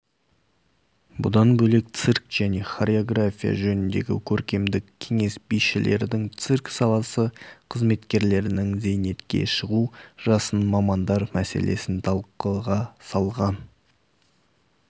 бұдан бөлек цирк және хореография жөніндегі көркемдік кеңес бишілердің цирк саласы қызметкерлерінің зейнетке шығу жасын мамандар мәселесін талқыға салған